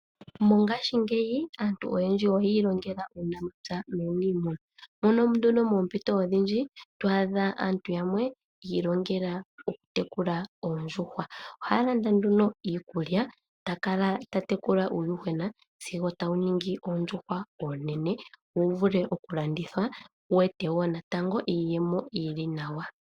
Mongashingeyi aantu oyendji oyi ilongela uunamapya nuunimuna, mono moompito odhindji to adha aantu yamwe yi ilongela okutekula oondjuhwa. Ohaya landa nduno iikulya ta kala ta tekula uuyuhwena wo tawu ningi oondjuhwa oonene wu vule okulandithwa wu ete wo natango iiyemo yi li nawa.